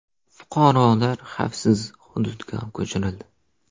Fuqarolar xavfsiz hududga ko‘chirildi.